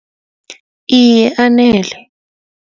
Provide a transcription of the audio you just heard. Iye anele.